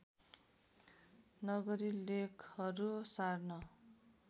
नगरी लेखहरू सार्न